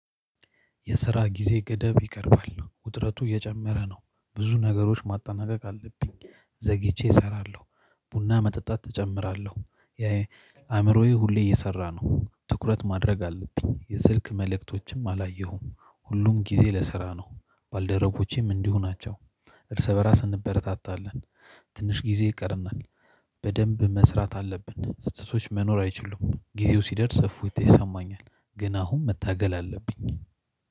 የስራ ጊዜ ገደብ ይቀርባል ውጥረቱ እየጨመረ ነው ብዙ ነገሮች ማጠናቀቅ አለብኝ። ዘግይቼ እሰራለሁ ቡና መጠጣት እጨምራለሁ የአእምሮዬ ሁሌ እየሰራ ነው ትኩረት ማድረግ አለብኝ። የስልክ መልእክቶችም አላየሁም ሁሉም ጊዜ ለስራ ነው። ባልደረቦቼም እንዲሁ ናቸው። እርስ በራስ እንበረታታለን። ትንሽ ጊዜ ይቀርናል። በደንብ መስራት አለብን ስትቶች መኖር አይችሉም ጊዜው ሲደርስ እፎይታ ይሰማኛል። ግን አሁን መታገል አለብኝ